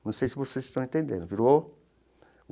Não sei se vocês estão entendendo virou.